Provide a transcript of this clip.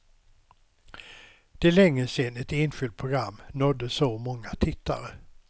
Det är länge sedan ett enskilt program nådde så många tittare.